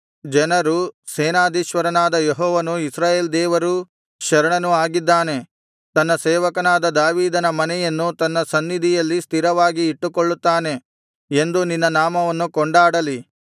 ಜನರು ಸೇನಾಧೀಶ್ವರನಾದ ಯೆಹೋವನು ಇಸ್ರಾಯೇಲ್ ದೇವರೂ ಶರಣನೂ ಆಗಿದ್ದಾನೆ ತನ್ನ ಸೇವಕನಾದ ದಾವೀದನ ಮನೆಯನ್ನು ತನ್ನ ಸನ್ನಿಧಿಯಲ್ಲಿ ಸ್ಥಿರವಾಗಿ ಇಟ್ಟುಕೊಳ್ಳುತ್ತಾನೆ ಎಂದು ನಿನ್ನ ನಾಮವನ್ನು ಕೊಂಡಾಡಲಿ